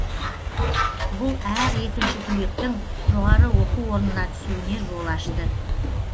бұл әр екінші түлектің жоғары оқу орнына түсуіне жол ашты